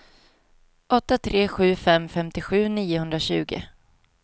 åtta tre sju fem femtiosju niohundratjugo